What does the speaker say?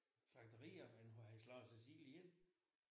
Slagteriejeren hør han slår sig selv ihjel